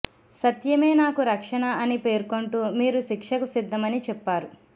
సత్యమే నాకు రక్షణ అని పేర్కొంటూ మీరు శిక్షకు సిద్ధమని చెప్పారు